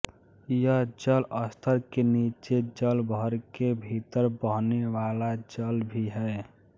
यह जल स्तर के नीचे जलभरे के भीतर बहने वाला जल भी है